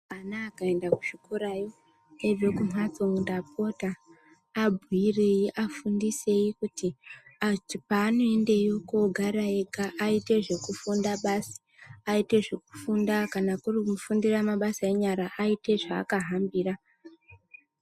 Ana akaenda kuzvikorayo eibve kumhatso ndapota abhuyirei afundisei kuti panoendeyo kogara ega aite zvekufunda basi ,aite zvekufunda kana kuri kufunda mabasa enyara aite zvakahambira.